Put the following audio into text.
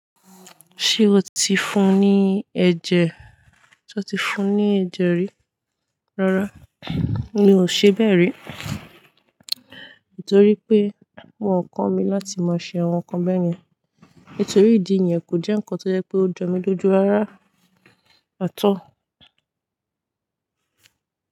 Ṣé o ti fún ní ẹ̀jẹ̀, sé o ti fún ní ẹ̀jẹ̀ rí? Rárá mi ò ṣebẹ́ rí. Nítorí pé wọn kọ́mi láti máa ń ṣe àwọn nkan báyẹn. Nítorí ìdí yẹn kòjẹ́ ìkan tójọmílójú rárá at all.